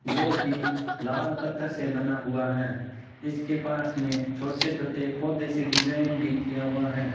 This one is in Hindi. जोकि लाल पत्थर से बना हुआ है इसके पास में छोटे छोटे पौधे से डिजाइन भी किया हुआ है।